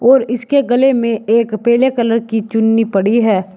और इसके गले में एक पेले कलर की चुन्नी पड़ी है।